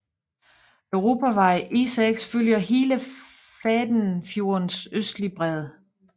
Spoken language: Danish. Europavej E6 følger hele Fættenfjordens østlige bred